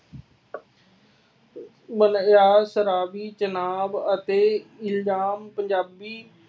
ਬਿਆਸ, ਰਾਵੀ ਚੇਨਾਬ ਅਤੇ ਇਲਜਾਮ ਪੰਜਾਬੀ